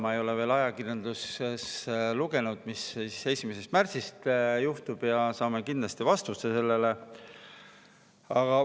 Ma ei ole veel ajakirjandusest lugenud, mis 1. märtsist juhtub, aga saame kindlasti vastuse sellele.